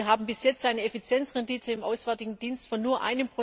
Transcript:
Wir haben bis jetzt eine Effizienzrendite im Auswärtigen Dienst von nur